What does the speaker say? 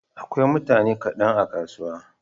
Akwai mutane kaɗan a kasuwa.